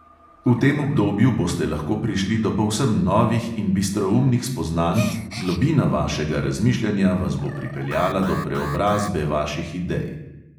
V tem obdobju boste lahko prišli do povsem novih in bistroumnih spoznanj, globina vašega razmišljanja vas bo pripeljala do preobrazbe vaših idej.